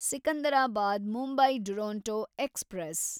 Secunderabad Mumbai Duronto express